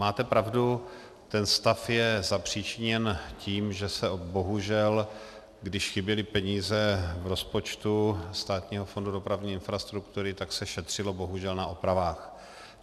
Máte pravdu, ten stav je zapříčiněn tím, že se bohužel, když chyběly peníze v rozpočtu Státního fondu dopravní infrastruktury, tak se šetřilo bohužel na opravách.